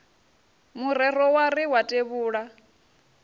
murero wa ri wa tevhula